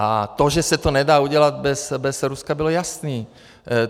A to, že se to nedá udělat bez Ruska, bylo jasné.